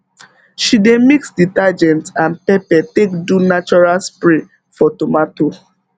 she dey mix detergent and pepper take do natural spray for tomato